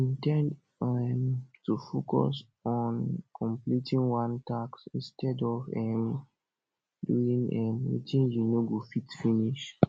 indend um to focus on completing one task instead of um doing um wetin you no go fit finish